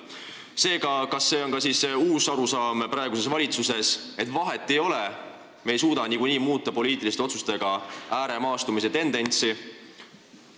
" Kas see on ka uus arusaam praeguses valitsuses, et vahet ei ole, me ei suuda poliitiliste otsustega niikuinii ääremaastumise tendentsi muuta?